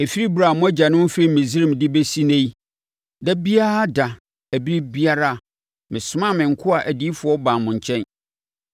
Ɛfiri ɛberɛ a mo agyanom firii Misraim de bɛsi ɛnnɛ yi, da biara da ne ɛberɛ biara mesomaa me nkoa adiyifoɔ baa mo nkyɛn.